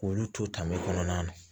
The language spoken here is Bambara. K'olu to tama kɔnɔna na